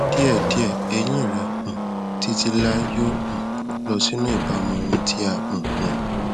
díẹdíẹ eyín rẹ um títí láéláé yóò um lọ sínú ìbámu wọn tí a um yàn